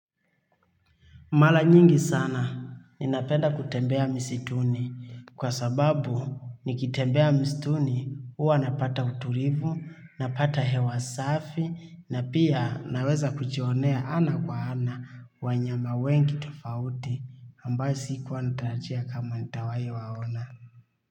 Mara nyingi sana ninapenda kutembea msituni kwa sababu, nikitembea msituni, huwa napata utulivu, napata hewa safi na pia, naweza kujionea ana kwa ana wanyama wengi tofauti ambao sikuwa narajia kama nitawahi waona.